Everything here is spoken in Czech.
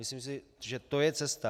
Myslím si, že to je cesta.